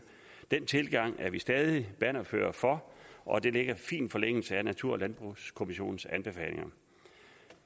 den tilgang er vi stadig bannerførere for og det ligger i fin forlængelse af natur og landbrugskommissionens anbefalinger